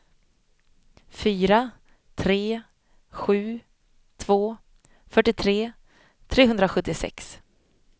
fyra tre sju två fyrtiotre trehundrasjuttiosex